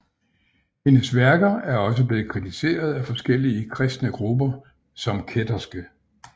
Hendes værker er også blevet kritiseret af forskellige kristne grupper som kætterske